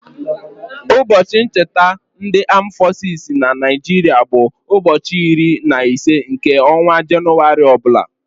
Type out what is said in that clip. Ụbọchị ncheta ndị aam fọsis na Naịjiria bụ ụbọchị iri na ise nke ọnwa Jenụwarị ọbụla.